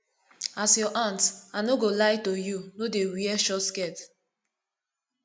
as your aunt i no go lie to you no dey wear short skirt